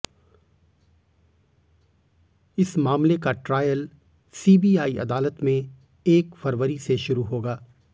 इस मामले का ट्रायल सीबीआई अदालत में एक फरवरी से शुरू होगा